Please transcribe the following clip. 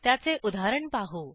त्याचे उदाहरण पाहू